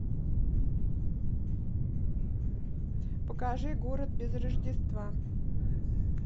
покажи город без рождества